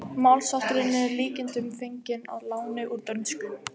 Málshátturinn er að líkindum fenginn að láni úr dönsku.